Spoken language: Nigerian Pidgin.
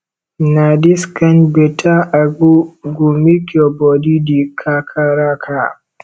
na dis kain beta agbo go make your bodi dey kakaraka